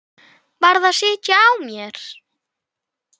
Varð að sitja á mér.